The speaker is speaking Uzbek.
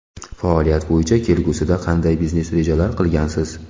Faoliyat bo‘yicha kelgusida qanday biznes rejalar qilgansiz?